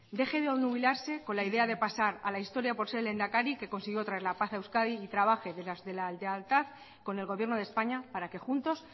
deje de obnubilarse con la idea de pasar a la historia por ser el lehendakari que consiguió traer la paz a euskadi y trabaje desde la lealtad con el gobierno de españa para que juntos